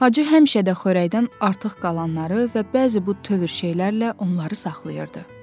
Hacı həmişə də xörəkdən artıq qalanları və bəzi bu tövr şeylərlə onları saxlayırdı.